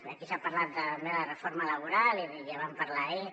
aquí s’ha parlat també de la reforma laboral i ja en vam parlar ahir